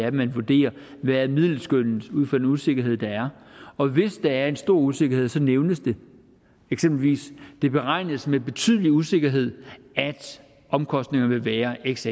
at man vurderer hvad middelskønnet er ud fra den usikkerhed der er og hvis der er en stor usikkerhed nævnes det eksempelvis sådan det beregnes med betydelig usikkerhed at omkostningerne vil være x